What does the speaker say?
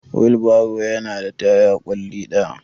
Wheelbarrow yana da taya ƙwalli ɗaya.